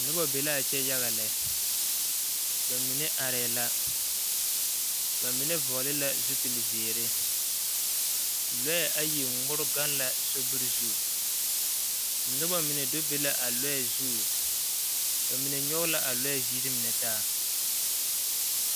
Noba be la a kyɛ yaga lɛ ba mine arɛɛ la ba mine vɔgle la zupilizeere lɔɛ ayi ŋmore gaŋ la sobiri zu noba mine do be la a lɔɛ zu ba mine nyɔge la a lɔɛ ziri mine taa.